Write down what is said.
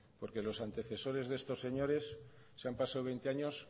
porque los antecesores de estos señores se han pasado veinte años